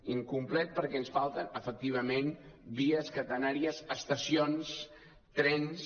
incomplet perquè ens falten efectivament vies catenàries estacions trens